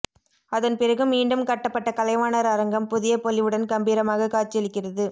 அதன் பிறகு மீண்டும் கட்டப்பட்ட கலைவாணர் அரங்கம் புதிய பொலிவுடன் கம்பீரமாக காட்சியளிக்கிறது